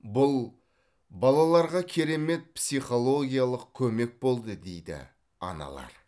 бұл балаларға керемет психологиялық көмек болды дейді аналар